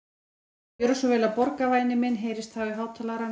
Viltu gjöra svo vel að borga, væni minn heyrðist þá í hátalaranum.